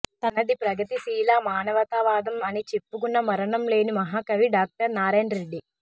తనది ప్రగతిశీల మానవతావాదం అని చెప్పుకున్న మరణం లేని మహాకవి డాక్టర్ నారాయణ రెడ్డి